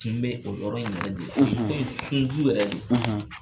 Tun be o yɔrɔ in yɛrɛ de la fɛn in sun